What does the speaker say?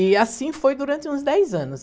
E assim foi durante uns dez anos.